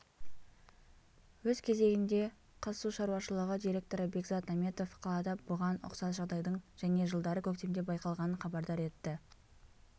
өз кезегінде қазсушаруашылығы директоры бекзат наметов қалада бұған ұқсас жағдайдың және жылдары көктемде байқалғанын хабардар етті